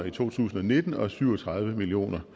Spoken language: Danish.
i to tusind og nitten og syv og tredive million